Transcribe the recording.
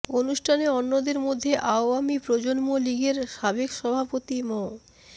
অনুষ্ঠানে অন্যদের মধ্যে আওয়ামী প্রজন্ম লীগের সাবেক সভাপতি মো